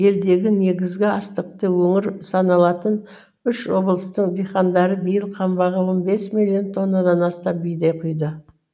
елдегі негізгі астықты өңір саналатын үш облыстың диқандары биыл қамбаға он бес миллион тоннадан астам бидай құйды